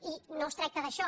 i no es tracta d’això